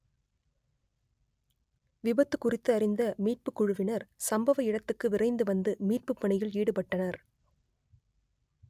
விபத்து குறித்து அறிந்த மீட்புக் குழுவினர் சம்பவ இடத்துக்கு விரைந்து வந்து மீட்பு பணியில் ஈடுபட்டனர்